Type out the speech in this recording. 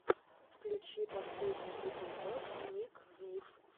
включи последний эпизод ник би